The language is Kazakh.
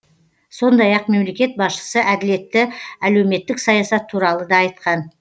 сондай ақ мемлекет басшысы әділетті әлеуметтік саясат туралы да айтқан